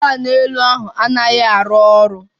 Onye na-ahụ maka ụlọ anaghị arụ ọrụ